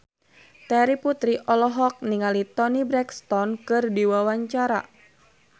Terry Putri olohok ningali Toni Brexton keur diwawancara